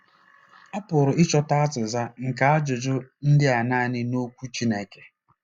A pụrụ ịchọta azịza nke ajụjụ ndị a nanị n’Okwu Chineke.